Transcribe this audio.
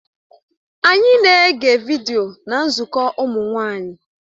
Anyị na-ege vidiyo na nzukọ ụmụ nwanyị